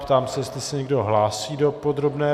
Ptám se, jestli se někdo hlásí do podrobné